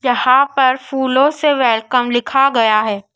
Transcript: जहाँ पर फूलों से वेलकम लिखा गया है।